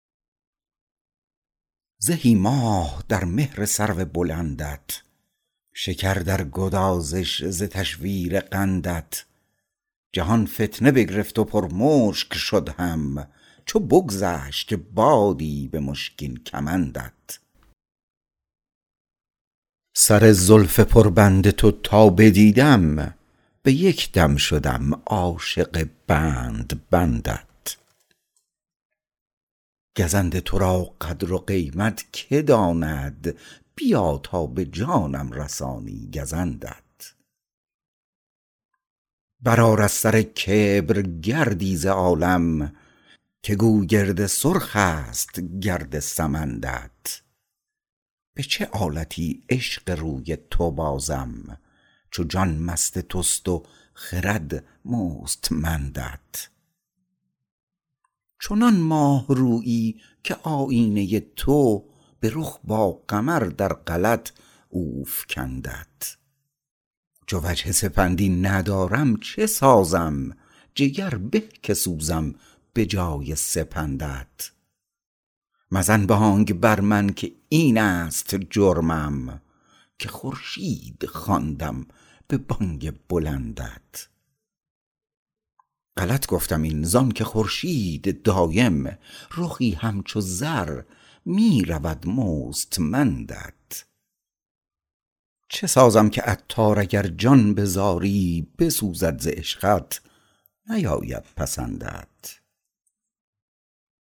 زهی ماه در مهر سرو بلندت شکر در گدازش ز تشویر قندت جهان فتنه بگرفت و پر مشک شد هم چو بگذشت بادی به مشکین کمندت سر زلف پر بند تو تا بدیدم به یک دم شدم عاشق بند بندت گزند تو را قدر و قیمت که داند بیا تا به جانم رسانی گزندت برآر از سر کبر گردی ز عالم که گوگرد سرخ است گرد سمندت به چه آلتی عشق روی تو بازم چو جان مست توست و خرد مستمندت چنان ماه رویی که آیینه تو به رخ با قمر در غلط او فکندت چو وجه سپندی ندارم چه سازم جگر به که سوزم به جای سپندت مزن بانگ بر من که این است جرمم که خورشید خواندم به بانگ بلندت غلط گفتم این زانکه خورشید دایم رخی همچو زر می رود مستمندت چه سازم که عطار اگر جان به زاری بسوزد ز عشقت نیاید پسندت